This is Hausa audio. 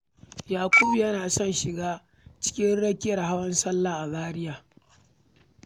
Yakubu yana son shiga cikin rakiyar Hawan Sallah a Zaria.